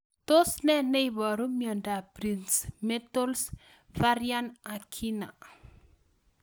Tos ne neiparu miondop Prinzmetals' variant angina